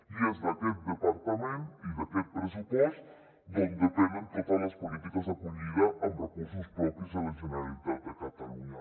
i és d’aquest departament i d’aquest pressupost d’on depenen totes les polítiques d’acollida amb recursos propis de la generalitat de catalunya